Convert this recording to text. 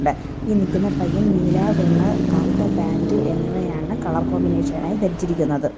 ഈ നിക്കുന്ന പയ്യൻ നീല വെള്ള കറുത്ത പാൻറ് എന്നിവയാണ് കളർ കോമ്പിനേഷൻ ആയി ധരിച്ചിരിക്കുന്നത്.